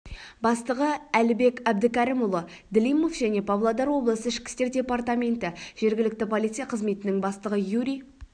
бастығы әлібек әбдікәрімұлы длимов және павлодар облысы ішкі істер департаменті жергілікті полиция қызметінің бастығы юрий